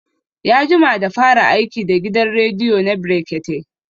Ya jima da fara aiki da gidan rediyo na brekete